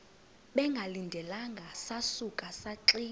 bengalindelanga sasuka saxinga